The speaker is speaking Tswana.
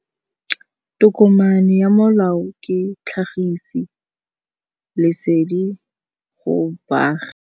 Tokomane ya molao ke tlhagisi lesedi go baagi.